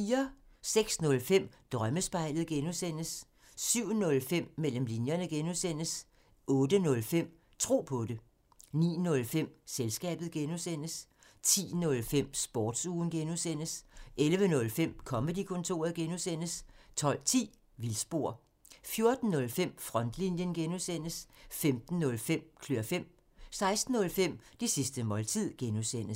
06:05: Drømmespejlet (G) 07:05: Mellem linjerne (G) 08:05: Tro på det 09:05: Selskabet (G) 10:05: Sportsugen (G) 11:05: Comedy-kontoret (G) 12:10: Vildspor 14:05: Frontlinjen (G) 15:05: Klør fem 16:05: Det sidste måltid (G)